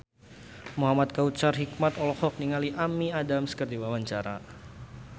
Muhamad Kautsar Hikmat olohok ningali Amy Adams keur diwawancara